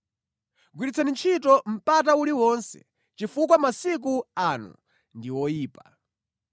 Gwiritsani ntchito mpata uliwonse, chifukwa masiku ano ndi oyipa.